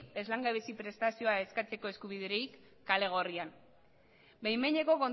ez langabezi prestazioa eskatzeko eskubiderik kale gorrian behin behineko